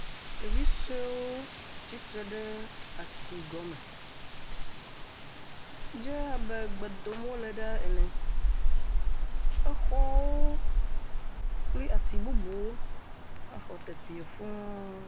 ɖevisoewo titre ɖe ati gɔme dze abe gbedom wóle ɖa ene exɔwo kpli. ati bubuwo xɔ teƒiɛ fuu